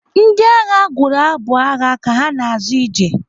Ndị agha gụrụ abụ agha ka ha na-azọ ije.